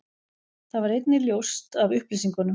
Það varð einnig ljóst af upplýsingum